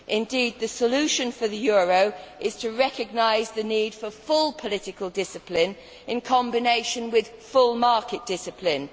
Indeed the solution for the euro is to recognise the need for full political discipline in combination with full market discipline.